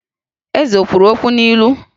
Eze o kwuru okwu n'ilu?